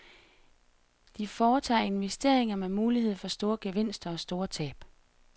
De foretager investeringer med mulighed for store gevinster, og store tab.